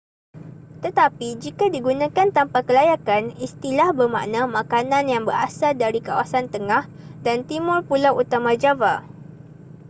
tetapi jika digunakan tanpa kelayakan istilah bermakna makanan yang berasal dari kawasan tengah dan timur pulau utama java